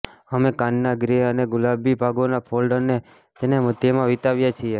અમે કાનના ગ્રે અને ગુલાબી ભાગોને ફોલ્ડ અને તેને મધ્યમાં વિતાવીએ છીએ